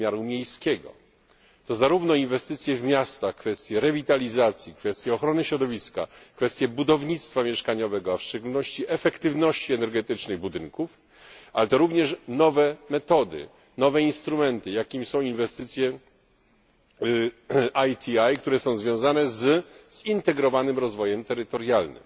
wymiaru miejskiego to zarówno inwestycje w miastach, kwestie rewitalizacji, kwestie ochrony środowiska, kwestie budownictwa mieszkaniowego, a w szczególności efektywności energetycznej budynków, ale to również nowe metody, nowe instrumenty, jakimi są inwestycje ITI, które są związane z zintegrowanym rozwojem terytorialnym.